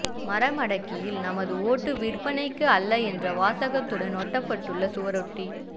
மறமடக்கியில் நமது ஓட்டு விற்பனைக்கு அல்ல என்ற வாசகத்துடன் ஒட்டப்பட்டுள்ள சுவரொட்டி